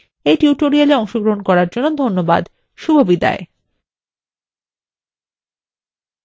রাধা এই tutorialটি অনুবাদ এবং অন্তরা সেটি রেকর্ড করেছেন এই tutorialএ অংশগ্রহন করার জন্য ধন্যবাদ শুভবিদায়